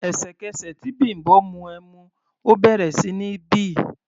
Ẹ̀sẹ̀kẹsẹ̀ tí Bimbo mu ẹmu, ó bẹ̀rẹ̀ sí ní bì.